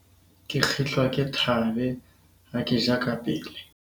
ke kgitlwa ke thaabe ha ke ja kapele